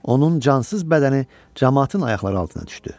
Onun cansız bədəni camaatın ayaqları altına düşdü.